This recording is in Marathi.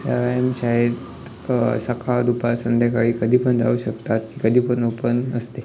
व्यायाम अ शाळेत सकाळ दुपार संध्याकाळी कधी पण जाऊ शकता कधी पण ओपन असते.